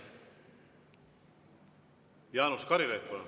Jaanus Karilaid, palun!